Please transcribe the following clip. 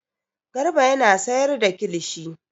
Garba yana sayar da kilishi.